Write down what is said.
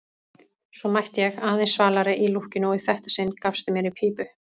Svo mætti ég, aðeins svalari í lúkkinu, og í þetta sinn gafstu mér í pípu.